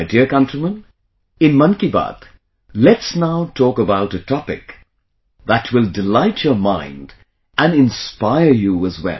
My dear countrymen, in 'Mann Ki Baat', let's now talk about a topic that will delight your mind and inspire you as well